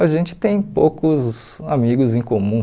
A gente tem poucos amigos em comum.